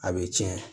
A bɛ tiɲɛ